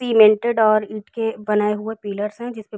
Cemented और ईंट के बने हुए पिलरस् से हैं। जिसपे --